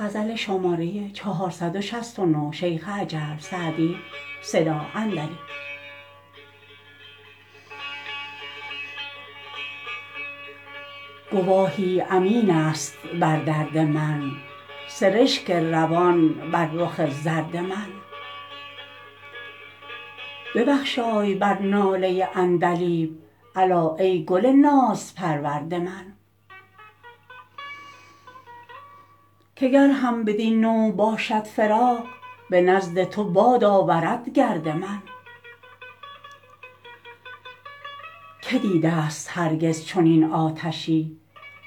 گواهی امین است بر درد من سرشک روان بر رخ زرد من ببخشای بر ناله عندلیب الا ای گل نازپرورد من که گر هم بدین نوع باشد فراق به نزد تو باد آورد گرد من که دیده ست هرگز چنین آتشی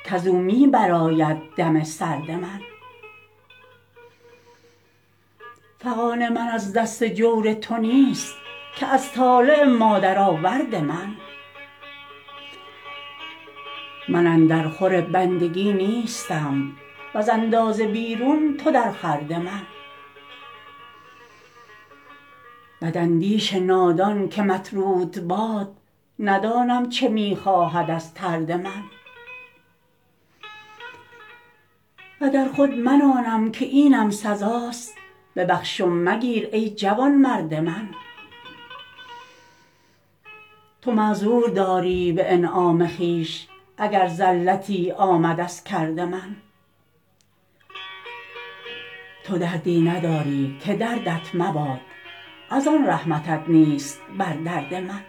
کز او می برآید دم سرد من فغان من از دست جور تو نیست که از طالع مادرآورد من من اندر خور بندگی نیستم وز اندازه بیرون تو در خورد من بداندیش نادان که مطرود باد ندانم چه می خواهد از طرد من و گر خود من آنم که اینم سزاست ببخش و مگیر ای جوانمرد من تو معذور داری به انعام خویش اگر زلتی آمد از کرد من تو دردی نداری که دردت مباد از آن رحمتت نیست بر درد من